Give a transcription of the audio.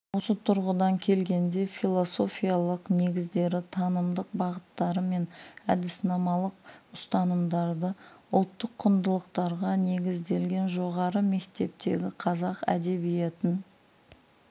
осы тұрғыдан келгенде философиялық негіздері танымдық бағыттары мен әдіснамалық ұстанымдары ұлттық құндылықтарға негізделген жоғары мектептегі қазақ әдебиетін